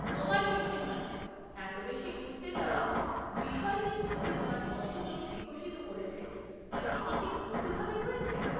তোমার কি মনে হয় এত বেশি ঘুরতে যাওয়া বিষয়টির প্রতি তোমার পছন্দকে বিকশিত করেছে বা এটি কি উল্টোভাবে হয়েছে?